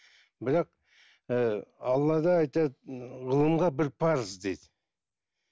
бірақ ііі аллада айтады ғылымға бір парыз дейді